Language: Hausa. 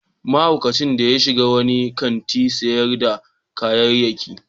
Mahaukacin ya shiga wani kantin sayar da kayayyaki.